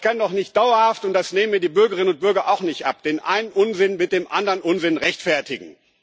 Aber ich kann doch nicht dauerhaft und das nehmen mir die Bürgerinnen und Bürger auch nicht ab den einen Unsinn mit dem anderen Unsinn rechtfertigen.